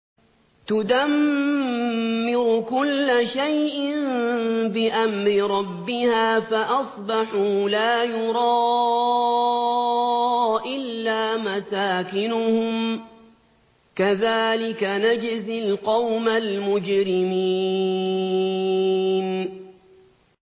تُدَمِّرُ كُلَّ شَيْءٍ بِأَمْرِ رَبِّهَا فَأَصْبَحُوا لَا يُرَىٰ إِلَّا مَسَاكِنُهُمْ ۚ كَذَٰلِكَ نَجْزِي الْقَوْمَ الْمُجْرِمِينَ